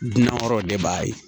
Dunan wɛrɛw de b'a ye